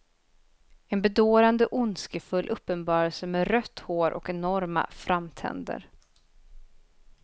En bedårande ondskefull uppenbarelse med rött hår och enorma framtänder.